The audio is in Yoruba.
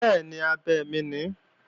Bẹ́ẹ̀ni, abẹ mi ni